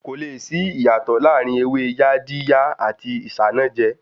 Kò le sí ìyàtò láàrin ewé Yaadiya àti Isanaje